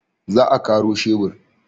Za a karo shebur.